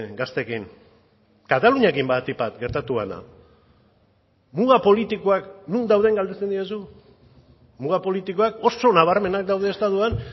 gazteekin kataluniarekin batik bat gertatu dena muga politikoak non dauden galdetzen didazu muga politikoak oso nabarmenak daude estatuan